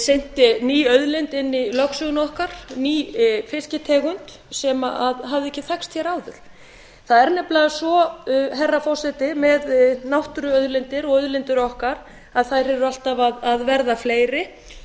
synti ný auðlind inn í lögsöguna okkar ný fisktegund sem hafði ekki þekkst hér áður það er nefnilega svo herra forseti með náttúruauðlindir og auðlindir okkar að þær eru alltaf að verða fleiri